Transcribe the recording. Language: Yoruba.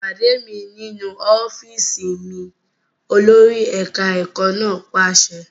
Pàdé mi nínú ọ́fíìsì mi! Olórí ẹ̀ka ẹ̀kọ́ náà pàṣẹ.